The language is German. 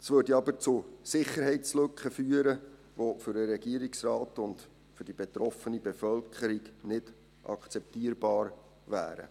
Es würde aber zu Sicherheitslücken führen, welche für den Regierungsrat und die betroffene Bevölkerung nicht akzeptabel wären.